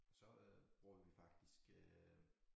Så øh bruger vi faktisk øh